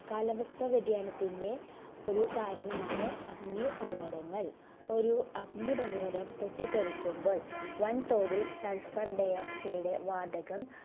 കാലാവസ്ഥ വ്യതിയാനത്തിന്ന് ഒരു കാരണമാണ് അഗ്നിപർവ്വതങ്ങൾ. ഒരു അഗ്നിപർവ്വതം പൊട്ടിത്തെറിക്കുമ്പോൾ വൻ തോതിൽ sulphur dioxide വാതകം